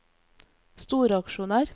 storaksjonær